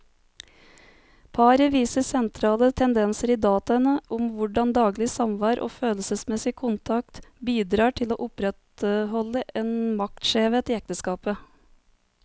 Paret viser sentrale tendenser i dataene om hvordan daglig samvær og følelsesmessig kontakt bidrar til å opprettholde en maktskjevhet i ekteskapet.